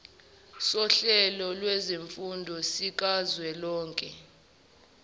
sohlelo lwezifundo sikazwelonke